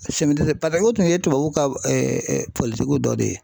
o tun ye tubabuw ka dɔ de ye.